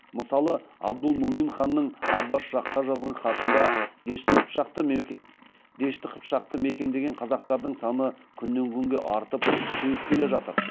мысалы абдулмумин ханның аббас шахқа жазған хатында дешті қыпшақты мекендеген қазақтардың саны күннен күнге артып күшейіп келе жатыр